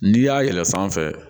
N'i y'a yɛlɛ fan fɛ